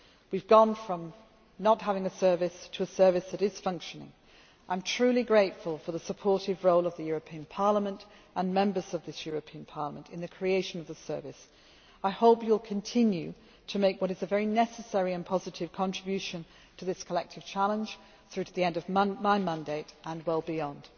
proposals. We have gone from not having a service to a service that is functioning. I am truly grateful for the supportive role of the European Parliament and Members of this European Parliament in the creation of this service. I hope you will continue to make what is a very necessary and positive contribution to this collective challenge through to the end of my mandate and well beyond.